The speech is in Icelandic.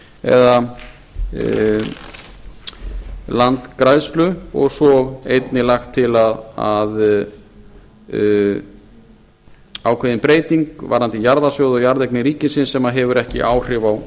eða landgræðslu og svo einnig lagt til að ákveðin breyting varðandi jarðasögu og jarðeignir ríkisins sem hefur ekki áhrif á